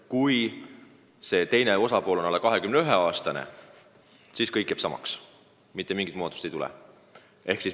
Kui teine osapool on alla 21-aastane, siis kõik jääb samaks, mitte midagi uut ei tule.